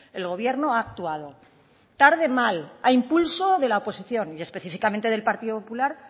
el gobierno ha actuado tarde mal ha impulso de la oposición y específicamente del partido popular